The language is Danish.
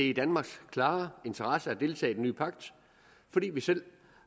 i danmarks klare interesse at deltage i den nye pagt fordi vi selv